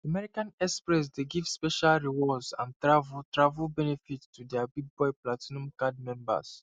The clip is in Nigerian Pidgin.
american express dey give special rewards and travel travel benefits to dia bigboy platinum card members